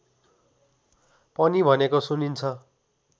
पनि भनेको सुनिन्छ